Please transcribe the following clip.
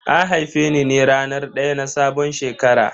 An haife ni ne a ranar daya na sabon shekara.